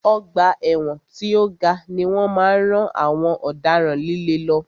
Ọgbà ẹ̀wọ̀n tí o ga ni wọ́n máa ń rán àwọn ọ̀daràn líle lọ.